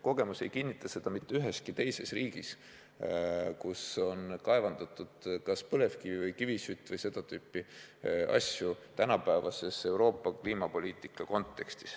Kogemus ei kinnita seda ka mitte üheski teises riigis, kus on kaevandatud kas põlevkivi või kivisütt või seda tüüpi asju, arvestades tänapäevast Euroopa kliimapoliitika konteksti.